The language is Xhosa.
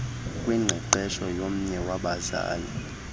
kwingqeqesho yomnye wabazali